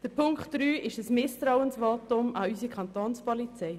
Die Forderung von Punkt 3 ist ein Misstrauensvotum an unsere Kantonspolizei.